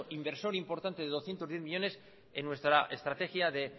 inversor importante de doscientos diez millónes en nuestra estrategia de